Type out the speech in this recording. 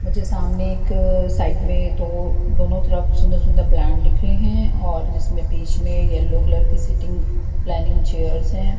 मुझे सामने एक साइड में दो दोनों तरफ सुंदर सुंदर प्लांट दिख रहे हैं और जिसमें बीच में येलो कलर की सीटिंग प्लानिंग चेयर्स हैं।